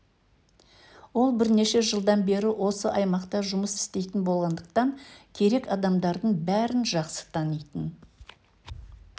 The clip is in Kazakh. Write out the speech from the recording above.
ол бірнеше жылдан бері осы аймақта жұмыс істейтін болғандықтан керек адамдардың бәрін жақсы танитын